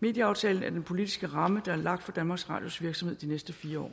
medieaftalen er den politiske ramme der er lagt for danmarks radios virksomhed i de næste fire år